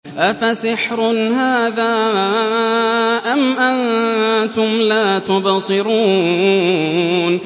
أَفَسِحْرٌ هَٰذَا أَمْ أَنتُمْ لَا تُبْصِرُونَ